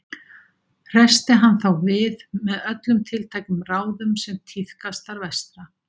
Hressti hann þá við með öllum tiltækum ráðum sem tíðkast þar vestra.